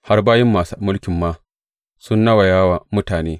Har bayin masu mulki ma sun nawaya wa mutane.